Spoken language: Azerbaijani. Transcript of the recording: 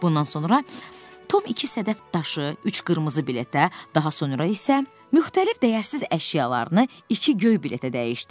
Bundan sonra Tom iki sədəf daşı, üç qırmızı biletə, daha sonra isə müxtəlif dəyərsiz əşyalarını iki göy biletə dəyişdi.